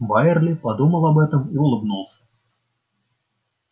байерли подумал об этом и улыбнулся